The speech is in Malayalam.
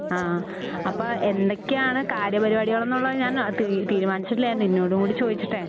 ആ അപ്പോ എന്തൊക്കെയാണ് കാര്യപരിപാടികളൊന്നൊള്ളത് ഞാൻ തീ തീരുമാനിച്ചിട്ടില്ല ഞാൻ നിന്നോടുകൂടെ ചോദിച്ചിട്ടെ